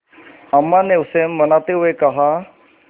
अम्मा ने उसे मनाते हुए कहा